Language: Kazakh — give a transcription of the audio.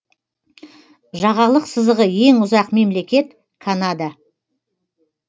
жағалық сызығы ең ұзақ мемлекет канада